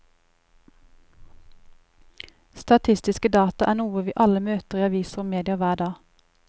Statistiske data er noe vi alle møter i aviser og medier hver dag.